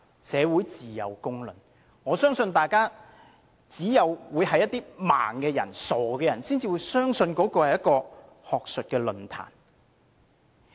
社會自有公論，我相信只有視而不見的傻人才會相信那是一場學術論壇。